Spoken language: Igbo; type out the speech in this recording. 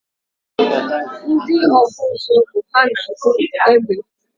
Ndị ọkpụ ụzụ bụ ha na-akpụ egbe